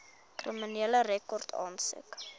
kriminele rekord aansoek